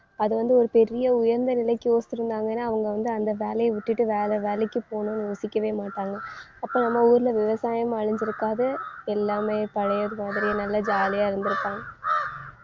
அது வந்து ஒரு பெரிய உயர்ந்த நிலைக்கு யோசிச்சிருந்தாங்கன்னா அவங்க வந்து அந்த வேலையை விட்டுட்டு வேற வேலைக்கு போகணுன்னு யோசிக்கவே மாட்டாங்க. அப்ப நம்ம ஊர்ல விவசாயமும் அழிஞ்சிருக்காது. எல்லாமே பழையது மாதிரியே நல்லா ஜாலியா இருந்திருப்பாங்க